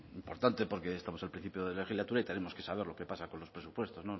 importante porque estamos al principio de legislatura y tenemos que saber lo que pasa con los presupuestos